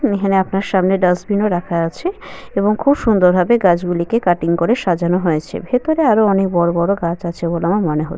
এখানে আপনার সামনে ডাস্টবিন -ও রাখা আছে এবং খুব সুন্দর ভাবে গাছগুলিকে কাটিং করে সাজানো হয়েছে। ভেতরে আরও অনেক বড় বড় গাছ আছে বলে আমার মনে হ--